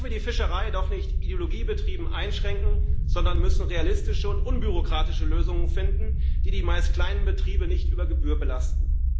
Da dürfen wir die Fischerei doch nicht ideologiebetrieben einschränken, sondern müssen realistische und unbürokratische Lösungen finden, die die meist kleinen Betriebe nicht über Gebühr belasten.